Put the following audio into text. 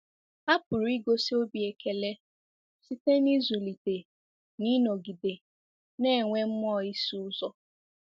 Ha pụrụ igosi obi ekele site n'ịzụlite na ịnọgide na-enwe mmụọ ịsụ ụzọ.